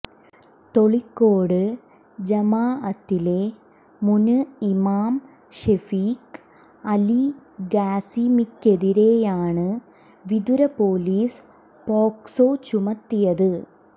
തൊളിക്കോട് ജമാഅത്തിലെ മുന് ഇമാം ഷെഫീക്ക് അല് ഖാസിമിക്കെതിരെയാണ് വിതുര പൊലീസ് പോക്സോ ചുമത്തിയത്